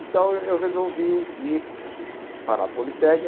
Então, eu eu resolvi ir para a